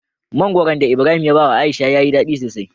Mangoron da ibrahim ya bawa aisha yayi dadi sosai